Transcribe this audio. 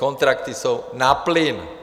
Kontrakty jsou na plyn.